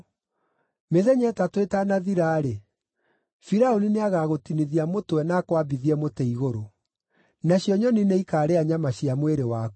Mĩthenya ĩtatũ ĩtanathira-rĩ, Firaũni nĩagagũtinithia mũtwe na akwambithie mũtĩ igũrũ. Nacio nyoni nĩikarĩa nyama cia mwĩrĩ waku.”